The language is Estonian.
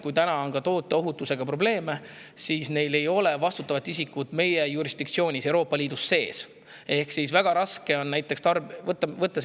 Kui täna on tooteohutusega probleeme ja neil ei ole vastutavat isikut meie jurisdiktsioonis, Euroopa Liidus, siis on väga raske.